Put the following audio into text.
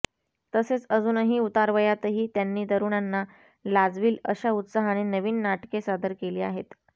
तसेच अजूनही उतारवयातही त्यांनी तरुणांना लाजवील अशा उत्साहाने नवीन नाटके सादर केली आहेत